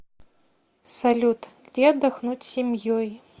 салют где отдохнуть с семьей